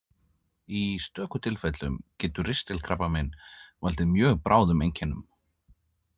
Í stöku tilfellum getur ristilkrabbamein valdið mjög bráðum einkennum.